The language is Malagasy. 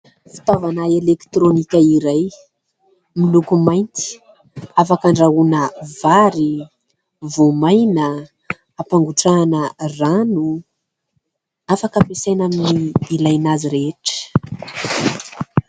Fitaovana elektrônika iray miloko mainty, afaka handrahoana vary, voamaina, hampangotrahana rano, afaka hampiasaina amin'ny ilaina azy rehetra.